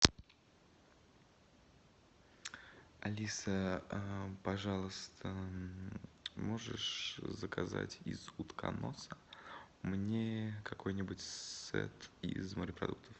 алиса пожалуйста можешь заказать из утконоса мне какой нибудь сет из морепродуктов